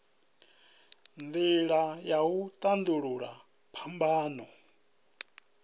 nila ya u tandululwa phambano